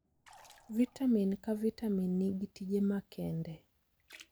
Vitamin ka vitamin nigi tije makende.